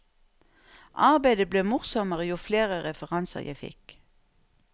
Arbeidet ble morsommere jo flere referanser jeg fikk.